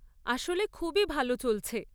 আসলে খুবই ভাল চলছে।